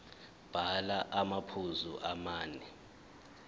bhala amaphuzu amane